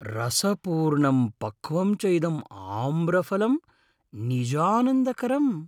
रसपूर्णं पक्वं च इदम् आम्रफलं निजानन्दकरम् ।